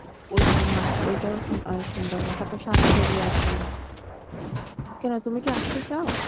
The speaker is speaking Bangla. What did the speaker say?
ওইখানেও ওটাও অনেক সুন্দর তারপর সাতচরি আছে কোনো তুমি কি আসতে চাও?